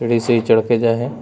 सीढ़ी से ही चढ़ के गए है।